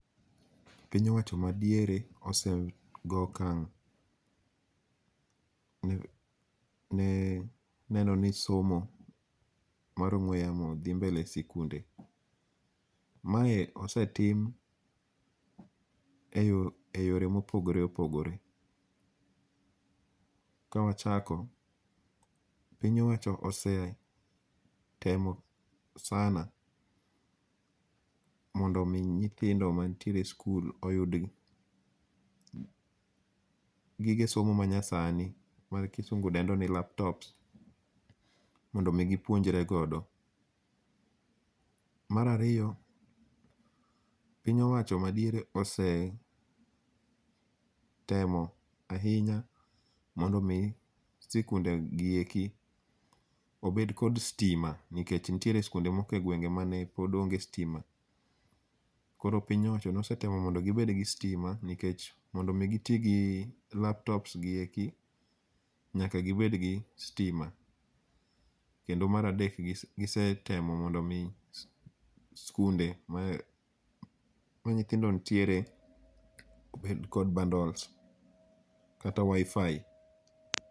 Piny owacho madiere ose goyo okang' ne neno ni somo mar ong'ue yamo dhi mbele e sikunde. Mae osetim eyore mopogore opogore. Kawachako, piny owacho osetemo sana mondo mi nyithindo mantiere skul uyud gige somo manyasani ma kisungu dendo ni laptop mondo gipuonjre godo. Mar ariyo, piny owacho madiere osetemo ahinya mondo mi sikundegieki obed kod sitima nikech nitiere sikunde moko egwenge mapod neonge kod sitima. Koro piny owacho nosetemo mondo gibed kod sitima nikech mondo mi giti gi laptop gieki nyaka gibed kod stima. Kendo mar adel gisetemo mondo mi sikunde ma nyithindo nitiere obed kod bundles kata WiFi.